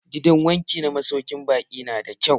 Gidan wanki na masaukin baƙi nan na da kyau.